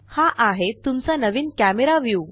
हा आहे तुमचा नवीन कॅमरा व्यू